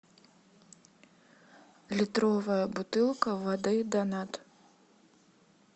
литровая бутылка воды донат